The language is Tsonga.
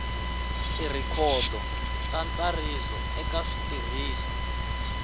tirhikhodo ta ntsariso eka switirhiso